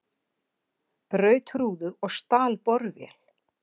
Braut rúðu og stal borvél